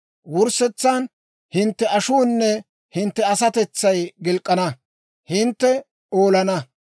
Wurssetsan hintte ashuunne hintte asatetsay gilk'k'ina, hintte olana.